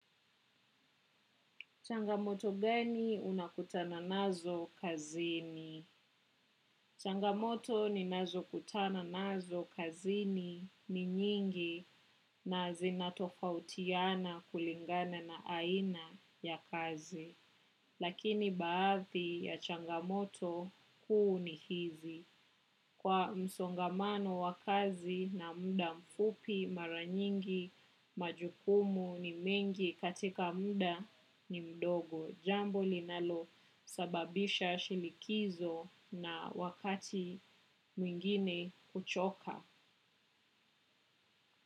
Changamoto gani unakutana nazo kazini? Changamoto ninazo kutana nazo kazini ni nyingi na zinatofautiana kulingana na aina ya kazi. Lakini baadhi ya changamoto kuu ni hizi; Kwa msongamano wa kazi na muda mfupi mara nyingi majukumu ni mengi katika muda ni mdogo. Jambo linalo sababisha shinikizo na wakati mwingine kuchoka.